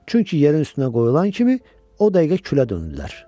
Çünki yerin üstünə qoyulan kimi o dəqiqə külə döndülər.